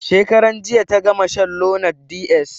Shekaran jiya ta gama shan lonart ds.